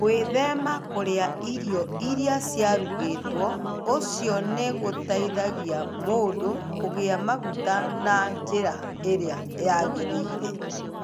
Gwĩthema kũrĩa irio iria ciarugĩtwo ũcio nĩ gũteithagia mũndũ kũiga maguta na njĩra ĩrĩa yagĩrĩire.